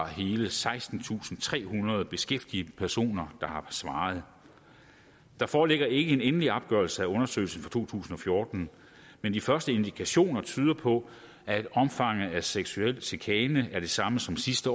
hele sekstentusinde og trehundrede beskæftigede personer der har svaret der foreligger ikke en endelig opgørelse af undersøgelsen for to tusind og fjorten men de første indikationer tyder på at omfanget af seksuel chikane er det samme som sidste